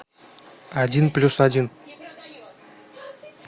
один плюс один